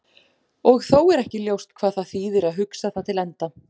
Og þó er ekki ljóst hvað það þýðir að hugsa það til enda.